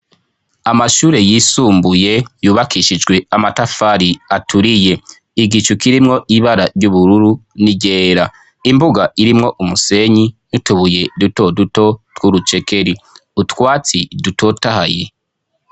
Amashure yisumbuye yubakishijwe amatafari aturiye igicu kirimwo ibara ry'ubururu n'irera imbuga irimwo umusenyi nutubuye dutoduto tw'urucekeri utwatsi dutotahaye.